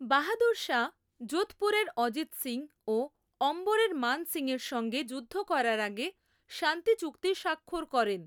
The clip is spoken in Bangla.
বাহাদুর শাহ যোধপুরের অজিত সিং ও অম্বরের মান সিংয়ের সঙ্গে যুদ্ধ করার আগে শান্তি চুক্তি স্বাক্ষর করেন।